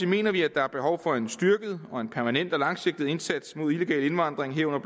mener vi at der er behov for en styrket permanent og langsigtet indsats mod illegal indvandring herunder